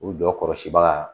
O jɔ kɔlɔsibaga